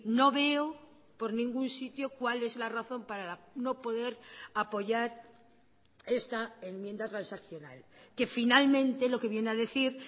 no veo por ningún sitio cuál es la razón para no poder apoyar esta enmienda transaccional que finalmente lo que viene a decir